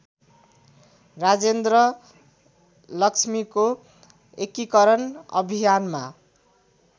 राजेन्द्रलक्ष्मीको एकीकरण अभियानमा